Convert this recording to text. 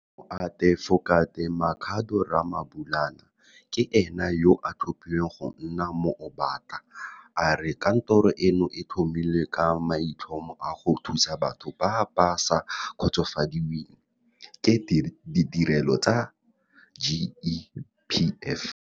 Moatefokate Makhado Ramabulana ke ene yo a thapilweng go nna Moombata. A re kantoro eno e tlhomilwe ka maitlhomo a go thusa batho ba ba sa kgotsofadiweng ke ditirelo tsa GEPF.